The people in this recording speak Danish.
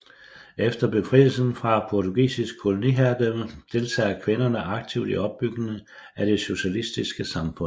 Efter befrielsen fra portugisisk koloniherredømme deltager kvinderne aktivt i opbygningen af det socialistiske samfund